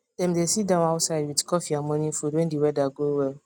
dem dey sit down outside with coffee and morning food when the weather go well